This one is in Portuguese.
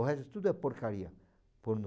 O resto tudo é porcaria, pornô.